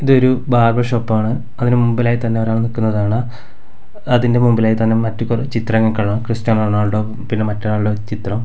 ഇതൊരു ബാർബർ ഷോപ്പാണ് അതിന്റെ മുൻപിലായി തന്നെ ഒരാള് നിൽക്കുന്നതാണ് അതിന്റെ മുൻപിലായി തന്നെ മറ്റു പല ചിത്രങ്ങൾ കാണാം ക്രിസ്ത്യനോ റൊണാൾഡോ പിന്നെ മറ്റൊരാളുടെ ചിത്രം.